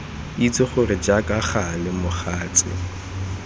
itse gore jaaka gale mogatse